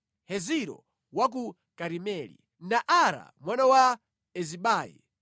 Heziro wa ku Karimeli Naara mwana wa Ezibai,